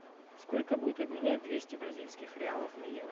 сколько будет обменять двести бразильских реалов на евро